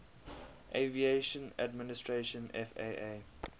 aviation administration faa